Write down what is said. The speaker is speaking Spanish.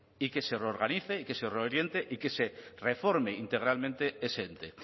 y que se reorganice y que se reoriente y que se reforme integralmente ese ente